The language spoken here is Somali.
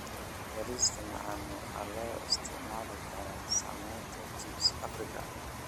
Bariishta macaan waxaa loo isticmaali karaa sameynta chipsi Afrika.